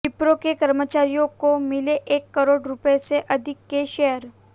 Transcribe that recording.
विप्रो के कर्मचारियों को मिले एक करोड़ रुपये से अधिक के शेयर